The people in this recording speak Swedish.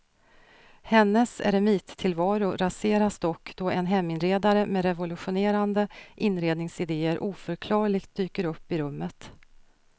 Hennes eremittillvaro raseras dock då en heminredare med revolutionerande inredningsidéer oförklarligt dyker upp i rummet.